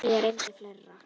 Og reyndar fleiri.